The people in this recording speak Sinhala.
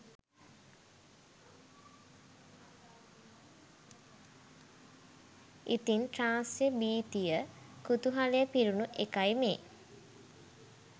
ඉතින් ත්‍රාස්‍ය භිතිය කුතුහලය පිරුණු එකයි මේ